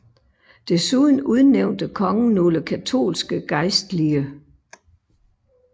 Desuden udnævnte kongen nogle katolske gejstlige